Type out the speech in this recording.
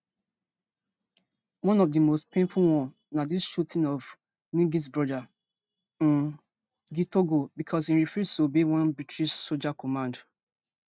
one of di most painful one na di shooting of nggs brother um gitogo becos im refuse to obey one british soldier command